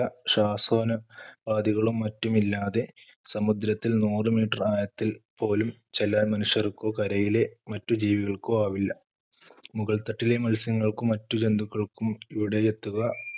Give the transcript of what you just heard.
ശ്വസനോ~പാധികളും മറ്റുമില്ലാതെ സമുദ്രത്തിൽ നൂറു meter ആയത്തിൽപ്പോലും ചെല്ലാൻ മനുഷ്യർക്കോ കരയിലെ മറ്റു ജീവികൾക്കോ ആവില്ല. മുകൾത്തട്ടിലെ മത്സ്യങ്ങൾക്കും മറ്റു ജന്തുക്കൾക്കും ഇവിടെയെത്തുക